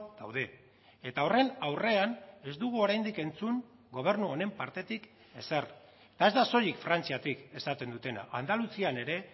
daude eta horren aurrean ez dugu oraindik entzun gobernu honen partetik ezer eta ez da soilik frantziatik esaten dutena andaluzian ere